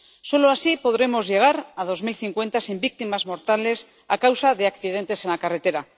Solo así podremos llegar a 2050 sin víctimas mortales a causa de accidentes en la carretera.